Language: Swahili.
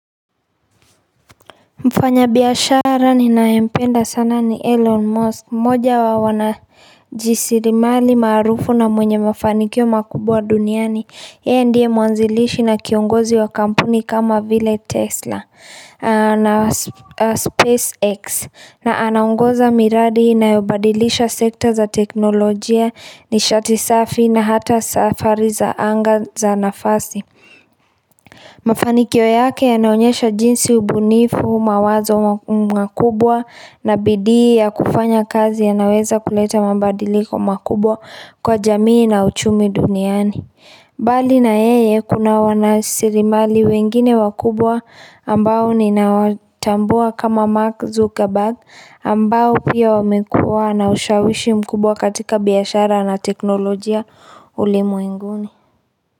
Mfanya biashara ninaempenda sana ni Elon Musk, moja wa wanajisirimali maarufu na mwenye mafanikio makubwa duniani. Yeye ndiye muanzilishi na kiongozi wa kampuni kama vile Tesla na SpaceX na anaungoza miradi inayobadilisha sekta za teknolojia nishati safi na hata safari za anga za nafasi. Mafanikio yake yanaonyesha jinsi ubunifu mawazo mwakubwa na bidii ya kufanya kazi yanaweza kuleta mabadiliko makubwa kwa jamii na uchumi duniani Bali na yeye kuna wanasirimali wengine wakubwa ambao ninawatambua kama Mark Zuckerberg ambao pia wamekuwa na ushawishi mkubwa katika biashara la teknolojia ulimwenguni.